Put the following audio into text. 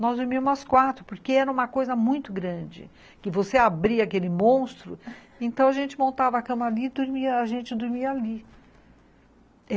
Nós dormíamos as quatro, porque era uma coisa muito grande, que você abria aquele monstro então a gente montava a cama ali e a gente dormia ali.